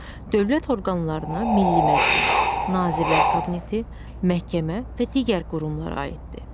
Dövlət orqanlarına Milli Məclis, Nazirlər Kabineti, məhkəmə və digər qurumlar aiddir.